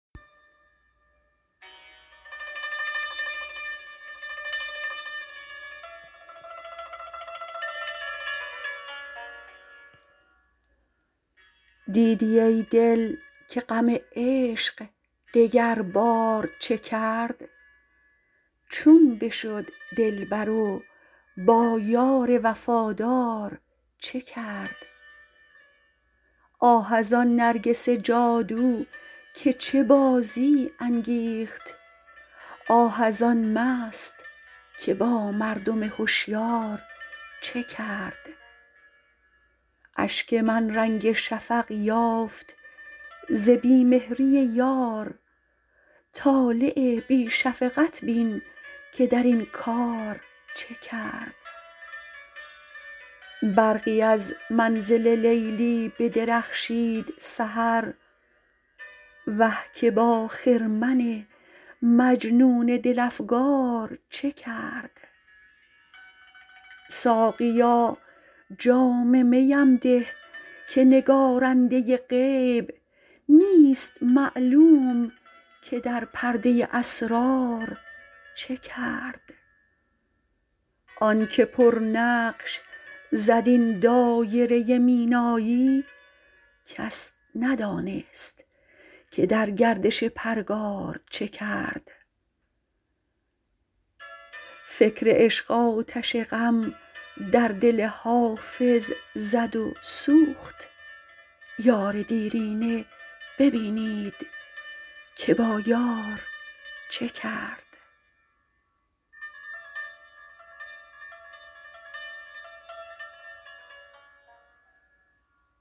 دیدی ای دل که غم عشق دگربار چه کرد چون بشد دلبر و با یار وفادار چه کرد آه از آن نرگس جادو که چه بازی انگیخت آه از آن مست که با مردم هشیار چه کرد اشک من رنگ شفق یافت ز بی مهری یار طالع بی شفقت بین که در این کار چه کرد برقی از منزل لیلی بدرخشید سحر وه که با خرمن مجنون دل افگار چه کرد ساقیا جام می ام ده که نگارنده غیب نیست معلوم که در پرده اسرار چه کرد آن که پرنقش زد این دایره مینایی کس ندانست که در گردش پرگار چه کرد فکر عشق آتش غم در دل حافظ زد و سوخت یار دیرینه ببینید که با یار چه کرد